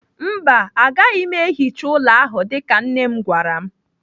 Mba, agaghị m ehicha ụlọ ahụ dịka nne m gwara m.